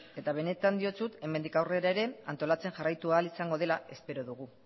eta benetan diotsut hemendik aurrera ere antolatzen jarraitu ahal izango dela espero dugu